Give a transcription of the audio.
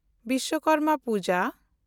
Vishwakarma Puja